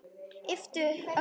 Yppti öxlum.